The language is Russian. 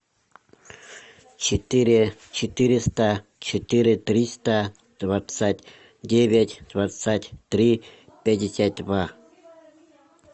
четыре четыреста четыре триста двадцать девять двадцать три пятьдесят два